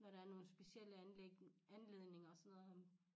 Når der er nogle specielle anledninger og sådan noget